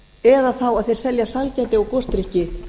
eða þá þeir selja sælgæti gosdrykki